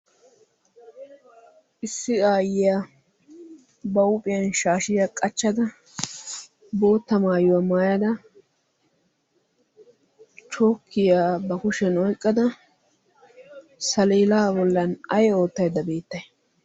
issi ayyiyaa ba huuphiyaan shaashiyaa qaaccada bootta mayuwaa maayada chookiyaa ba kushshiyaan oyqqada saleedaa boollan ay ottaydda bbettay?